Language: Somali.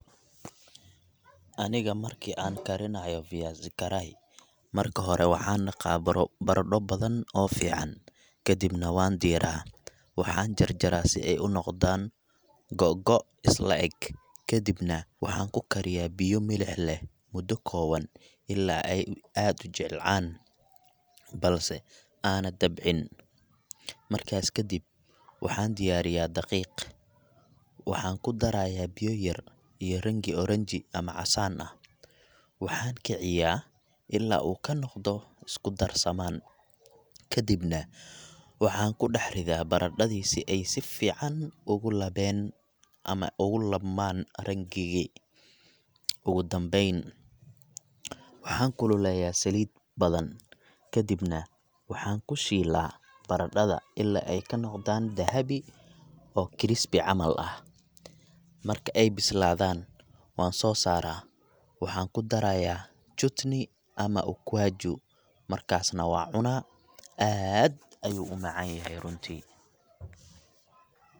Aniga markii aan karinayo viazi karai, marka hore waxaan dhaqaa baradho badan oo fiican, kadibna waan diiraa. Waxaan jarjaraa si ay u noqdaan googo’ isla eg, kadibna waxaan ku karkariyaa biyo milix leh muddo kooban ilaa ay aad u jilcaan – balse aanay dabcin. Markaas ka dib, waxaan diyaariyaa daqiiq, waxaan ku darayaa biyo yar iyo rangi oranji ama casaan ah, waxaan kiciyaa ilaa uu ka noqdo isku darsamaan. Kadibna waxaan ku dhex ridaa baradhadii si ay si fiican ugu labeen ama ugu labmaan rangi gii. Ugu dambayn, waxaan kululeeyaa saliid badan, kadibna waxaan ku shiilaa baradhada ilaa ay ka noqdaan dahabi oo crispy camal ah. Marka ay bislaadaan, waan soo saaraa, waxaan ku darayaa chutney ama ukwaaju, markaas na waan cunaa. Aad ayuu u macaan yahay runtii.